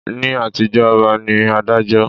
Ni àtijó ọba ní Adájọ́